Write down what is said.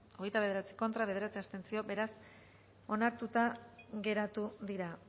hogeita bederatzi contra bederatzi abstentzio beraz onartuta geratu dira